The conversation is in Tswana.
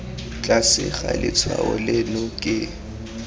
tlase ga letshwao leno ke